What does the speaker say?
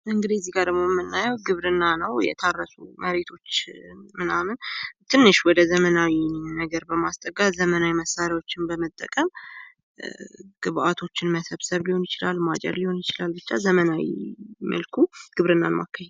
እንግዲህ እዚጋ ደግሞ የምናየው ግብርና ነው። የታረሱ መሬቶች ምናምን ትንሽ ዘመናዊ ነገር በማስጠጋት ዘመናዊ ማሽኖችን በመጠቀም ግብአቶችን መሰብሰብ ሊሆን ይችላል ማጨድል ሊሆን ይችላል ብቻ በዘመናዊ መልኩ ግብርናን ማካሄድ።